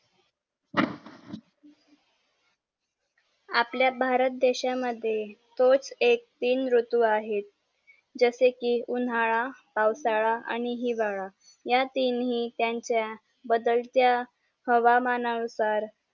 आपल्या भारत देशा मद्ये तोच एक तीन ऋतू आहेत जसे कि उन्हाळा पावसाळा आणि हिवाळा या तिन्ही त्यांचा बदलत्या हवामाना नुसार